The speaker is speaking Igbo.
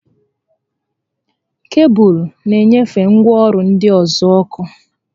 Kebụlụ na enyefe ngwaọrụ ndị ọzọ ọkụ